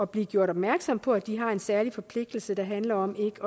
blive gjort opmærksomme på at de har en særlig forpligtelse der handler om ikke